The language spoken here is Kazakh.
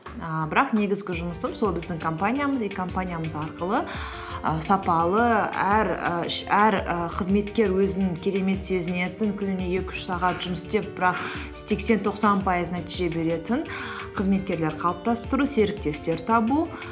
ііі бірақ негізгі жұмысым біздің компаниямыз и компаниямыз арқылы і сапалы әр і қызметкер өзін керемет сезінетін күніне екі үш сағат жұмыс істеп бірақ сексен тоқсан пайыз нәтиже беретін қызметкерлер қалыптастыру серіктестер табу